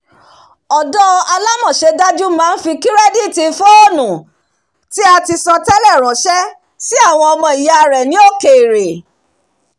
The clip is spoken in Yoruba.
ọ̀dó alámọṣẹ́dájú máa ń fi kirẹditi fóònù tí a ti san tẹ́lẹ̀ ránṣẹ́ sí àwọn ọmọ ìyá rẹ̀ ni òkèèrè